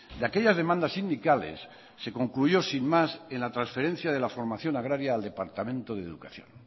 de aquellas demandas sindicales se concluyó sin más en la transferencia de la formación agraria al departamento de educación